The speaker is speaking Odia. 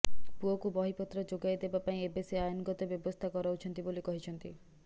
ପୁଅକୁ ବହିପତ୍ର ଯୋଗାଇ ଦେବା ପାଇଁ ଏବେ ସେ ଆଇନଗତ ବ୍ୟବସ୍ଥା କରାଉଛନ୍ତି ବୋଲି କହିଛନ୍ତି